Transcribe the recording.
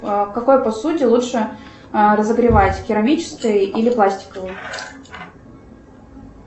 в какой посуде лучше разогревать в керамической или пластиковой